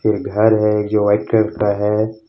एक घर है जो वाइट कलर का है।